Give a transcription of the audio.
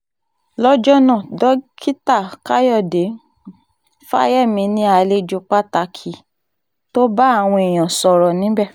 lọ́jọ́ náà dókítà káyọ̀dé um fáyemí ni àlejò pàtàkì um tó bá àwọn èèyàn sọ̀rọ̀ níbẹ̀